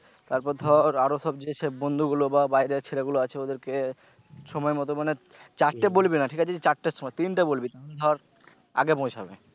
তারপর ধর আরো সব যে বন্ধুগুলো বা বাইরের ছেলেগুলো আছে ওদেরকে সময়মত মানে চারটে বলবি না ঠিক আছে যে চারটের তিনটে বলবি ধর আগে পৌছাবে।